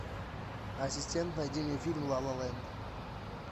ассистент найди мне фильм ла ла ленд